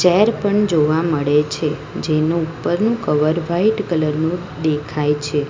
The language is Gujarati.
પણ જોવા મળે છે જેનો ઉપરનું કવર વાઈટ કલર નો દેખાય છે.